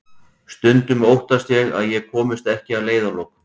Stundum óttast ég að ég komist ekki að leiðarlokum.